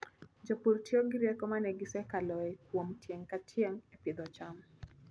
Jopur tiyo gi rieko ma ne gisekaloe kuom tieng' ka tieng' e pidho cham.